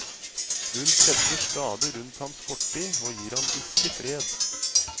Hun kretser stadig rundt hans fortid og gir han ikke fred.